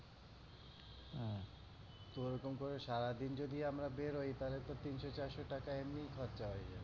ওরকম করে সারাদিন যদি আমরা বের হই তাহলে তো তিনশো চারশো টাকা এমনই খরচা হয়ে যাবে।